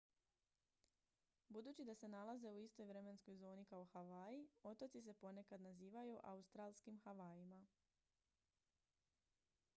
budući da se nalaze u istoj vremenskoj zoni kao havaji otoci se ponekad nazivaju autstralskim havajima